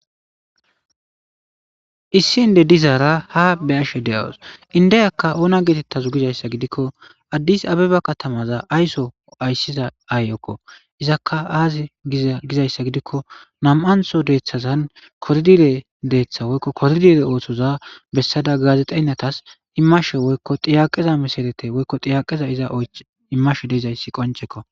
Issi inde dizaara ha be ashe de7awos indeyakka oona geetettazu gizayssa gidikko addis abeba katamaza ayso ayssiza aay7okko izakka aazi gizayssa gidikko nam7antho deeththazan koridire deeththa woykko koridire ooththoza bessada gaazexeynatas immashe woykko xiyaqeza misalete woykko xiyaqeza iza immashe deizayssi qonchekko.